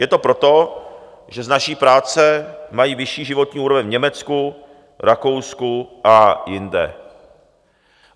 Je to proto, že z naší práce mají vyšší životní úroveň v Německu, Rakousku a jinde.